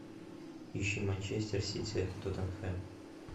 ищи манчестер сити тоттенхэм